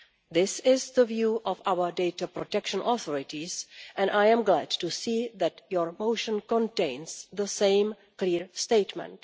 This is the view of our data protection authorities, and I am glad to see that your motion contains the same clear statement.